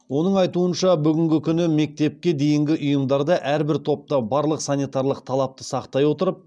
оның айтуынша бүгінгі күні мектепке дейінгі ұйымдарда әрбір топта барлық санитарлық талапты сақтай отырып